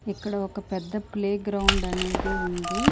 ఇక్కడ ఒక పెద్ద ప్లే గ్రౌండ్ అనేది ఉంది.